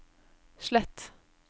slett